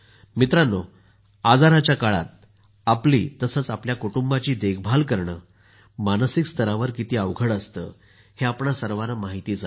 मित्रांनो आजाराच्या काळात आपली तसंच आमच्या कुटुंबाची देखभाल करणं मानसिक स्तरावर किती अवघड असतं हे आपणा सर्वाना माहितच आहे